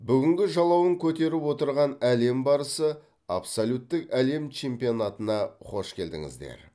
бүгінгі жалауын көтеріп отырған әлем барысы абсолюттік әлем чемпионатына қош келдіңіздер